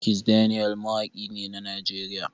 Kizz daniel mawaki ne a Najeriya.